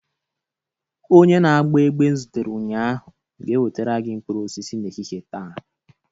Onye na-agba egbe m zutere ụnyaahụ ga-ewetara gị mkpụrụ osisi n'ehihie taa